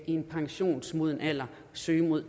en pensionsmoden alder søge mod